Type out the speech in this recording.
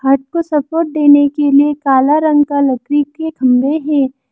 हट को सपोर्ट देने के लिए काला रंग के खंभे है।